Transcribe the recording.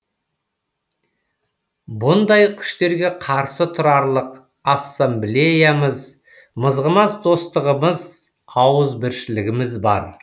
бұндай күштерге қарсы тұрарлық ассамблеямыз мызғымас достығымыз ауызбіршілігіміз бар